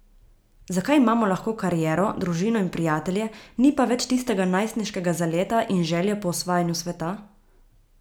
Zakaj imamo lahko kariero, družino in prijatelje, ni pa več tistega najstniškega zaleta in želje po osvajanju sveta?